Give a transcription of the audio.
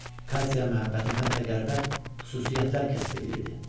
Katya məhəbbətim hətta qəribə xüsusiyyətlər kəsb eləyirdi.